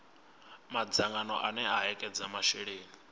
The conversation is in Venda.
madzangano ane a ekedza masheleni